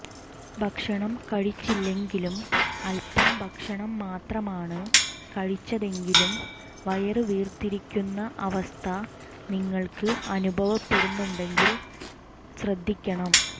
ഭക്ഷണം കഴിച്ചില്ലെങ്കിലും അല്പം ഭക്ഷണം മാത്രമാണ് കഴിച്ചതെങ്കിലും വയര് വീര്ത്തിരിയ്ക്കുന്ന അവസ്ഥ നിങ്ങള്ക്ക് അനുഭവപ്പെടുന്നുണ്ടെങ്കിലും ശ്രദ്ധിക്കണം